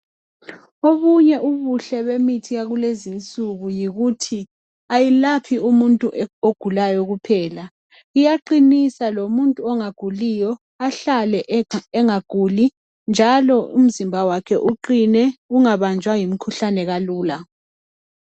Obunye ubuhle bemithi yakulezinsuku yikuthi ayilaohi umuntu ogulayo kuphela iyaqinisa lomuntu ongaguliyo ahlale bengaguli njalo umzimba wakhe uqine ungabanjwa yimikhuhlane kalula.